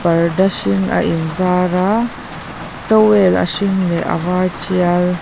parda hring a inzar a towel a hring leh a var tial --